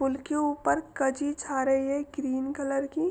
pool के ऊपर कजी छा रही है ग्रीन कलर की --